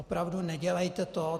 Opravdu, nedělejte to.